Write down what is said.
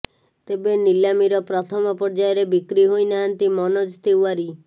ତେବେ ନିଲାମୀର ପ୍ରଥମ ପର୍ଯ୍ୟାୟରେ ବିକ୍ରି ହୋଇନାହାନ୍ତି ମନୋଜ ତିୱାରି